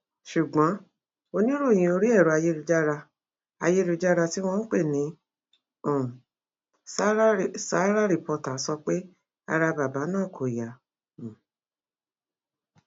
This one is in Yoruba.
ṣùgbọn oníròyìn orí ẹrọ ayélujára ayélujára tí wọn ń pè ní um sárà reporters sọ pé ara bàbá náà kò yá um